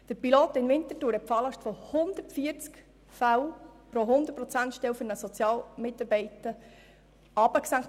Der Pilot in Winterthur hat die Falllast von 140 Fällen pro 100-Prozent-Stelle für einen Sozialarbeiter auf 75 Prozent gesenkt.